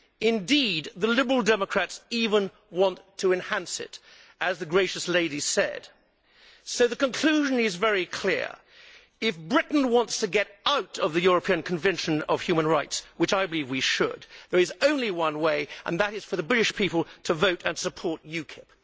Indeed, the Liberal Democrats even want to enhance it, as the gracious lady said. So the conclusion is very clear if Britain wants to get out of the European Convention of Human Rights, which I think we should, there is only one way and that is for the British people to vote and support UKIP.